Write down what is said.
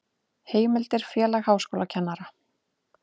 Heimildir Félag háskólakennara.